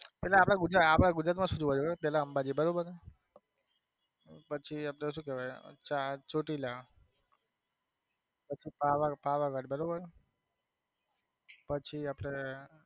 એટલે આપડા ગુજરાત માં ગુજરાત માં સુ પેલા અંબાજી બરોબર છે પછી આપડે સુ કે વાય ચા ચોટીલા પછી પાવા પાવાગઢ બરોબર છે પછી આપડે